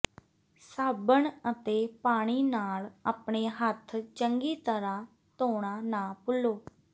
ਸਾਬਣ ਅਤੇ ਪਾਣੀ ਨਾਲ ਆਪਣੇ ਹੱਥ ਚੰਗੀ ਤਰ੍ਹਾਂ ਧੋਣਾ ਨਾ ਭੁੱਲੋ